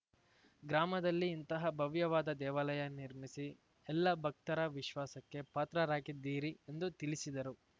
ಗ್ರಾಮದಲ್ಲಿ ಇಂತಹ ಭವ್ಯವಾದ ದೇವಾಲಯ ನಿರ್ಮಿಸಿ ಎಲ್ಲ ಭಕ್ತರ ವಿಶ್ವಾಸಕ್ಕೆ ಪಾತ್ರರಾಗಿದ್ದೀರಿ ಎಂದು ತಿಳಿಸಿದರು